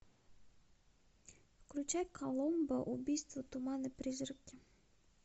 включай коломбо убийство туман и призраки